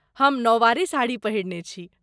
हम नौवारी साड़ी पहिरने छी।